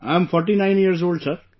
I am forty nine years old, Sir